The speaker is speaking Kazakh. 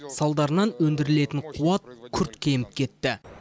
салдарынан өндірілетін қуат күрт кеміп кетті